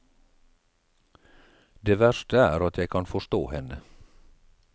Det verste er at jeg kan forstå henne.